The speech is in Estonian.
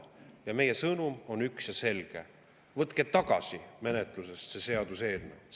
Meie sõnum on üks ja selge: võtke tagasi menetlusest see seaduseelnõu!